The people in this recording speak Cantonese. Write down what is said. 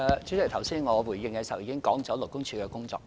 主席，剛才我回應時已經指出勞工處的工作。